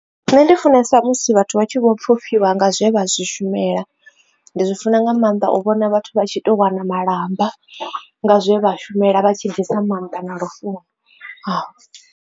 Nṋe ndi funesa musi vhathu vha tshi vho pfhufhiwa nga zwe vha zwi shumela ndi zwi funa nga maanḓa u vhona vhathu vha tshi to wana malamba nga zwe vha shumela vha tshi ḓisa maanḓa na lufuno.